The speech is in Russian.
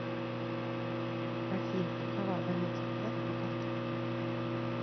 афина какова абонентская плата по карте в год